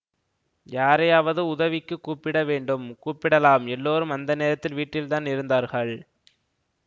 யாரையாவது உதவிக்குக் கூப்பிட வேண்டும் கூப்பிடலாம் எல்லாரும் அந்த நேரத்தில் வீட்டில்தான் இருந்தார்கள்